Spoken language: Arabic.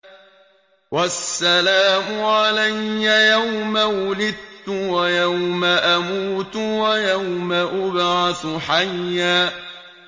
وَالسَّلَامُ عَلَيَّ يَوْمَ وُلِدتُّ وَيَوْمَ أَمُوتُ وَيَوْمَ أُبْعَثُ حَيًّا